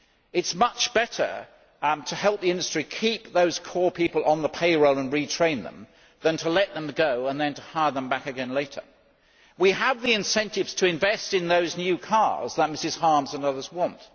It is much better to help the industry keep those core people on the payroll and retrain them than to let them go and then to hire them back again later. We have the incentives to invest in those new cars that Ms Harms and others want.